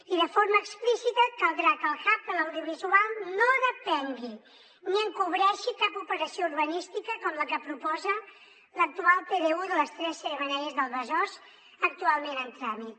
i de forma explícita caldrà que el hub de l’audiovisual no depengui ni encobreixi cap operació urbanística com la que proposa l’actual pdu de les tres xemeneies del besòs ac·tualment en tràmit